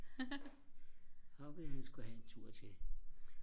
så ville han sku have en tur til